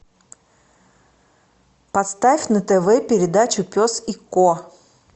поставь на тв передачу пес и ко